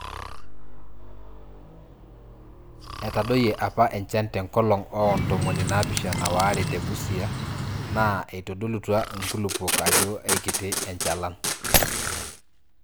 Etadoyie apa enchan te nkolong oo ntomoni naapishana waare te Busia aa eitodolutua nkulupuok ajo eikiti enchalan.